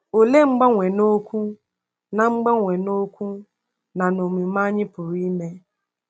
Olee mgbanwe n’okwu na mgbanwe n’okwu na n’omume anyị pụrụ ime?